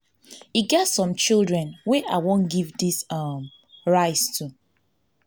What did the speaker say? e get some children wey i wan give dis um rice to